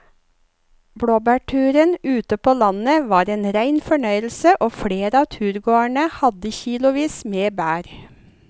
Blåbærturen ute på landet var en rein fornøyelse og flere av turgåerene hadde kilosvis med bær.